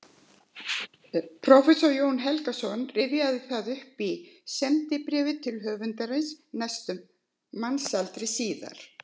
Prófessor Jón Helgason rifjaði það upp í sendibréfi til höfundarins næstum mannsaldri síðar